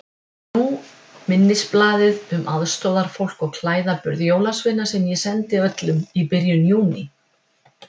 Nú minnisblaðið um aðstoðarfólk og klæðaburð jólasveina sem ég sendi öllum í byrjun Júní.